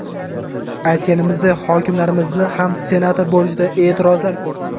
Aytganimizday hokimlarimizni ham senator bo‘lishida e’tirozlar ko‘p.